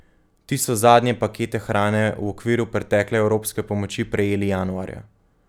Ti so zadnje pakete hrane v okviru pretekle evropske pomoči prejeli januarja.